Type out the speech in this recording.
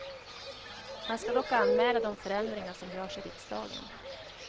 Han ska dock anmäla de förändringar som görs i riksdagen.